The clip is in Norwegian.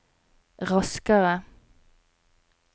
raskere